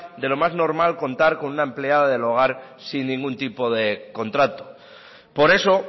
de lo más normal contar con una empleada del hogar sin ningún tipo de contrato por eso